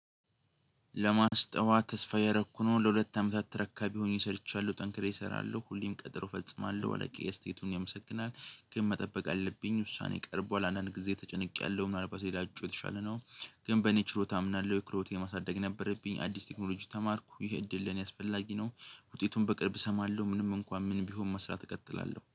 ለማስጠዋ ተስፋ እያረኩ ነው ለሁለት አመታት ተረካቢ ሆኜ ሰርቻለሁ ጠንክሬ እሰራለሁ ሁሌም ቀጠሮ እፈጽማለሁ አለቂዬ አስተያየቱን ያመሰግናል ግን መጠበቅ አለብኝ ውሳኔ ቀርቧል አንዳንድ ጊዜ ተጨንቄያለሁ ምናልባት ሌላ እጩ የተሻለ ነው። ግን በኔ ችሮታ አምናለሁ የክሮቴ ማሳደግ ነበረብኝ አዲስ ቴክኖሎጂ ተማርኩ ይሄ እድል ለኔ አስፈላጊ ነው። ውጤቱን በቅርብ እሰማለሁ ምንም እንኳን ምን ቢሆን መስራት እቀጥላለሁ